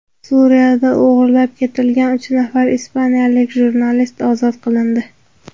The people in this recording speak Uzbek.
Suriyada o‘g‘irlab ketilgan uch nafar ispaniyalik jurnalist ozod qilindi.